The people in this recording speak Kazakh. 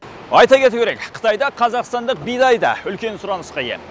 айта кету керек қытайда қазақстандық бидай да үлкен сұранысқа ие